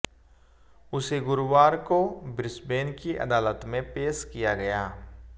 उसे गुरुवार को ब्रिसबेन की अदालत में पेश किया गया